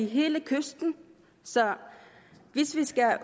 hele kysten så hvis vi skal